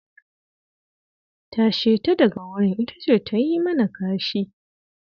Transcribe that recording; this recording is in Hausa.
Tashe ta daga wurin, ita ce ta yi mana kashi.